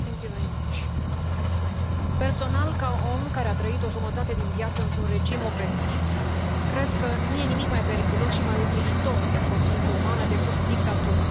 Doamnă președintă, personal, ca om care a trăit o jumătate din viață într un regim opresiv, cred că nu e nimic mai periculos și mai umilitor pentru o ființă umană decât dictatura.